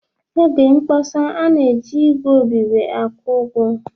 N'oge mkpọsa, a na-eji ígwè obibi akwụkwọ